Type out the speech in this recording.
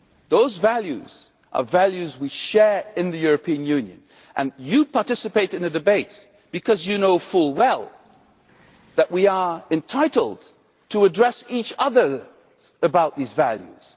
Those values are values we share in the European Union, and you participate in the debate because you know full well that we are entitled to address each other about these values.